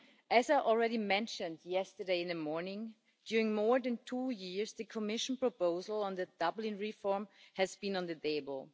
As I already mentioned yesterday morning, during more than two years the Commission proposal on the Dublin reform has been on the table.